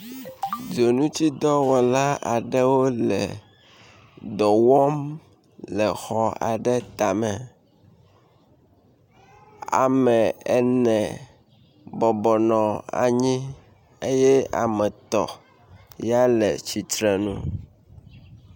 Dzonutidɔwɔla aɖewo le dɔ wɔm le xɔ aɖe tame. Ame ene bɔbɔnɔ anyi eye ame etɔ̃ ya le tsitrenu.